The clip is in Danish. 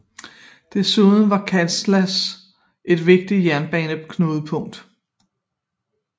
Desuden var Kassala et vigtigt jernbaneknudepunkt